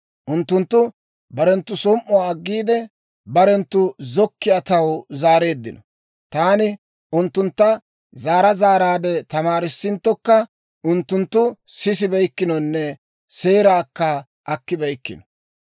Unttunttu barenttu som"uwaa aggiide, barenttu zokkiyaa taw zaareeddino. Taani unttuntta zaara zaaraadde tamaarissinttokka, unttunttu sisibeykkinonne seeraakka akkibeyikkino.